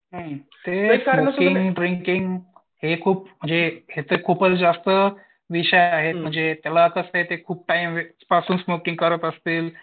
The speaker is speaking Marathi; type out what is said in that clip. हुं ते स्मोकिंग ड्रिंकिंग हे खूप म्हणजे हे तर खूपच जास्त विषय आहे ते खूप टाईम पासून स्मोकिंग करत असतील